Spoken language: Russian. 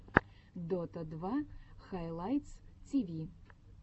дота два хайлайтс тиви